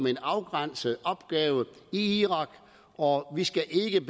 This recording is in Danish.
en afgrænset opgave i irak og vi skal ikke